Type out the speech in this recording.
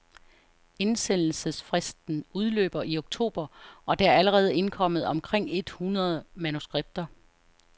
Indsendelsesfristen udløber i oktober, og der er allerede indkommet omkring et hundrede manuskripter.